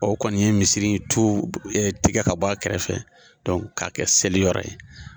O kɔni ye misiri tu tigɛ ka bɔ a kɛrɛfɛ k'a kɛ seli yɔrɔ ye.